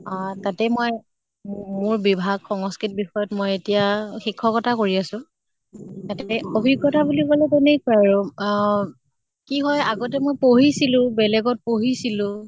তাতে মই মোৰ বভাগ সংস্কৃত বিষয়ত মই এতিয়া শিক্ষ্কতা কৰি আছো । তাতে অভিজ্ঞ্তা বুলি কʼলে তেনেকুৱাই আৰু অহ কি হয় আগতে মই পঢ়িছলো, বেলেগত পঢ়িছলো